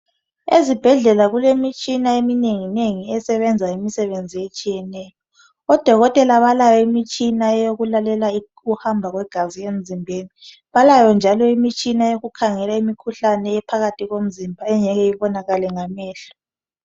Ezibhedlela kulemitshina eminengi nengi esebenza imisebenzi etshiyeneyo odokotela balayo imitshina yokulalela ukuhamba kwegazi emzimbeni balayo njalo imitshina yokukhangela imikhuhlane ephakathi komzimba engeke ibonakale ngamehlo